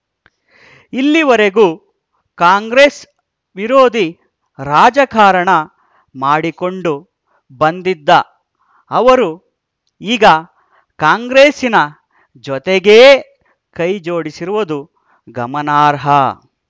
ಇಲ್ಲಿವರೆಗೂ ಕಾಂಗ್ರೆಸ್‌ ವಿರೋಧಿ ರಾಜಕಾರಣ ಮಾಡಿಕೊಂಡು ಬಂದಿದ್ದ ಅವರು ಈಗ ಕಾಂಗ್ರೆಸ್ಸಿನ ಜತೆಗೇ ಕೈಜೋಡಿಸಿರುವುದು ಗಮನಾರ್ಹ